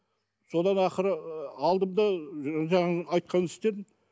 содан ақыры ы алдым да жаңағының айтқанын істедім